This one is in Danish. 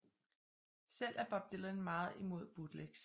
Selv er Bob Dylan meget imod bootlegs